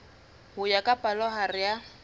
ho ya ka palohare ya